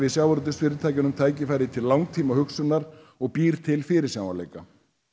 sjávarútvegsfyrirtækjunum tækifæri til langtímahugsunar og býr til fyrirsjáanleika